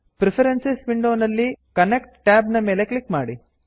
preferences preference ವಿಂಡೋನಲ್ಲಿ content connect tab ನ ಮೇಲೆ ಕ್ಲಿಕ್ ಮಾಡಿ